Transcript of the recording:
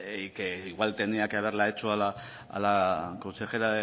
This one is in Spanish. y que igual tenía que haberla hecho a la consejera